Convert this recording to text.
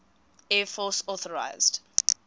air force authorised